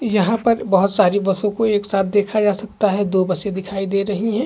यहाँ पर बहुत सारी बसों को एक साथ देखा जा सकते है दो बसे दिखाई दे रही है।